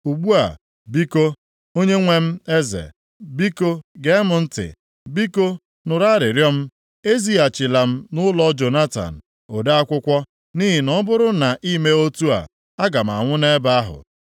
Ugbu a, biko, onyenwe m eze, biko gee m ntị. Biko, nụrụ arịrịọ m: Ezighachila m nʼụlọ Jonatan, ode akwụkwọ, nʼihi na ọ bụrụ na i mee otu a, aga m anwụ nʼebe ahụ.”